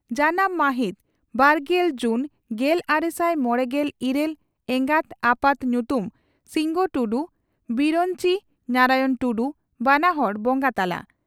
ᱡᱟᱱᱟᱢ ᱺ ᱢᱟᱦᱤᱛ ᱵᱟᱨᱜᱮᱞ ᱡᱩᱱ ᱜᱮᱞᱟᱨᱮᱥᱟᱭ ᱢᱚᱲᱮᱜᱮᱞ ᱤᱨᱟᱹᱞ ᱮᱜᱟᱛ/ᱟᱯᱟᱛ ᱧᱩᱛᱩᱢ ᱺ ᱥᱤᱱᱜᱚ ᱴᱩᱰᱩ/ᱵᱤᱨᱚᱧᱪᱤ ᱱᱟᱨᱟᱭᱚᱬ ᱴᱩᱰᱩ (ᱵᱟᱱᱟ ᱦᱚᱲ ᱵᱚᱸᱜᱟ ᱛᱟᱞᱟ)